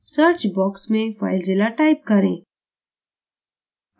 search box में filezilla type करें